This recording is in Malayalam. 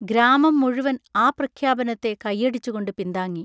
ഗ്രാമം മുഴുവൻ ആ പ്രഖ്യാപനത്തെ കയ്യടിച്ചുകൊണ്ട് പിന്താങ്ങി.